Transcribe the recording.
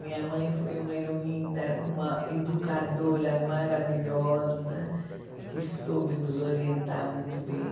Minha mãe foi uma heroína, uma educadora maravilhosa, que soube nos orientar muito bem.